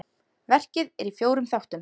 Verkið er í fjórum þáttum.